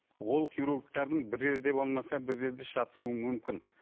ол хирургтердің бір жерде болмаса бір жерде шатасуы мүмкін